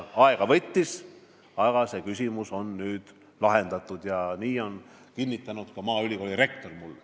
Aega võttis, aga see küsimus on nüüd lahendatud, nii on mulle kinnitanud ka maaülikooli rektor.